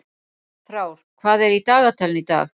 Frár, hvað er í dagatalinu í dag?